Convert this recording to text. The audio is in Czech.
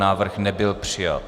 Návrh nebyl přijat.